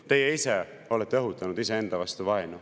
Teie ise olete õhutanud vaenu iseenda vastu.